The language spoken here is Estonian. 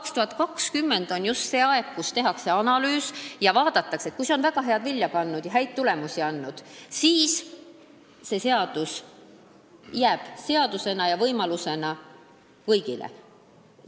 2020 on see aeg, kui tehakse analüüs: kui see projekt on vilja kandnud ja häid tulemusi andnud, siis jääb see seadus ja jääb see võimalus kõigile.